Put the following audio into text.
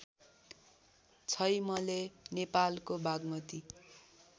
छैमले नेपालको बागमती